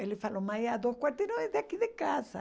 Ele falou, mas é dois quarteirões daqui de casa.